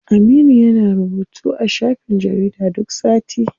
Aminu yana rubutu a shafin jarida duk sati.